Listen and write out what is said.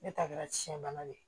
Ne ta kɛra tiɲɛ bana ye